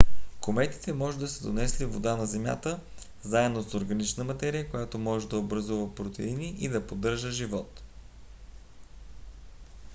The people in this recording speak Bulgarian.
кометите може да са донесли вода на земята заедно с органична материя която може да образува протеини и да поддържа живот